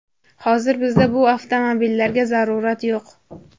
Hozir bizda bu avtomobillarga zarurat yo‘q.